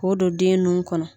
K'o don den nun kɔnɔ.